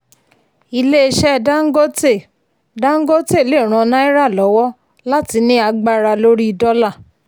ilé iṣẹ́ dangote dangote lè ràn náírà lọ́wọ́ láti ní agbára lórí dọ́là.